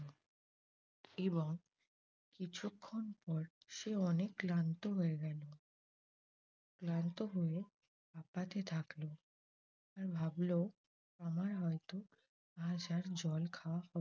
এবং কিছুক্ষন পর সে অনেক ক্লান্ত হয়ে গেল। ক্লান্ত হয়ে হাপাতে থাকল। আর ভাবল আমার হয়ত আজ আর জল খাওয়া হ